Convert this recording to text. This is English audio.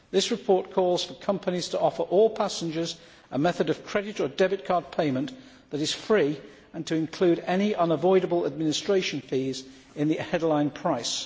This report calls for companies to offer all passengers a method of credit or debit card payment that is free and to include any unavoidable administration fees in the headline price.